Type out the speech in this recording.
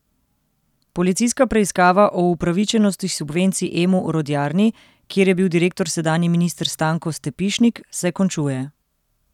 Policijska preiskava o upravičenosti subvencij Emu Orodjarni, kjer je bil direktor sedanji minister Stanko Stepišnik, se končuje.